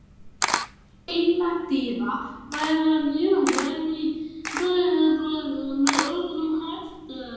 Heilladrýgra væri að smjúga inn í bæjarbraginn með öðrum hætti.